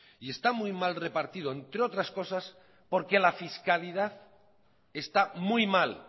y está muy mal repartido entre otras porque la fiscalidad está muy mal